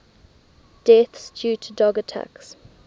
deaths due to dog attacks